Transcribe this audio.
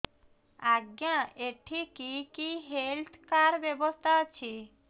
ଆଜ୍ଞା ଏଠି କି କି ହେଲ୍ଥ କାର୍ଡ ବ୍ୟବସ୍ଥା ଅଛି